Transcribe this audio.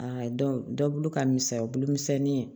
Aa dɔnku ka misɛn bulu misɛnnin